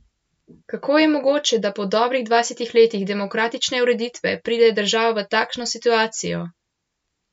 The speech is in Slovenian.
Kako je mogoče, da po dobrih dvajsetih letih demokratične ureditve pride država v takšno situacijo?